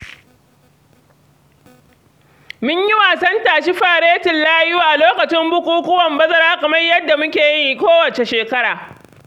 Mun yi wasan tashi faretin layu a lokacin bukukuwan bazara kamar yadda muke yi kowace shekara.